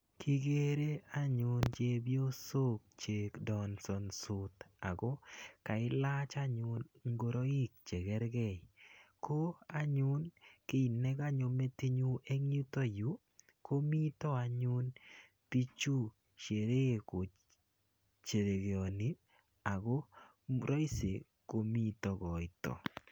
kigere anyun chepyosok che dansansot ako kailach anyun ngoroik chegerge. ko anyun kiit nekanyo metit nyu eng yiutakyu komitei anyun pichu sheree kosherekeani ako raisi komitei koito.